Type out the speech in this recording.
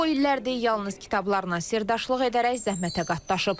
O illərdir yalnız kitablarla sirdaşlıq edərək zəhmətə qatlaşıb.